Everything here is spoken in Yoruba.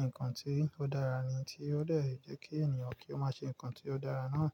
nǹkan tí ó dára ni tí ó dẹ́rẹ̀ jẹ́ kí ènìyàn kí ó máa ṣe nǹkan tí ó dára náà.